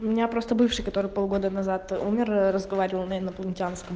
у меня просто бывший который полгода назад умер разговаривал на инопланетянском